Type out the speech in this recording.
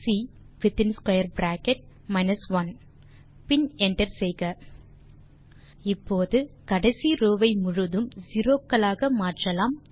C within square bracket 1 பின் enter செய்க இப்போது கடைசி ரோவ் ஐ முழுதும் செரோ களாக மாற்றலாம்